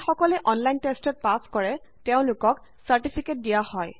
যিকসকলে online টেষ্টত pass কৰে তেওঁলোকক চাৰ্টিফিকেট দিয়ে